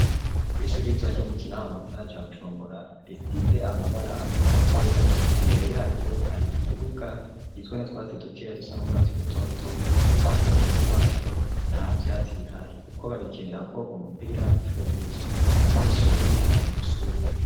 Kw'ishuri ritoa ryo mu kinama mu gisana ca gucumbora risize amabara agomba kwera imbere yaryo hari ikibuga gizwe no twatsidukeya dusan'urwatsi rutoto uruhande runyeni rwaco nta vyatsi bihari, kuko bagikenera ko umupira incuro nyinshi abanyeshuri bari muishuri.